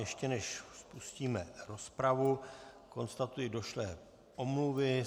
Ještě než spustíme rozpravu, konstatuji došlé omluvy.